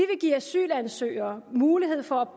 give asylansøgere mulighed for at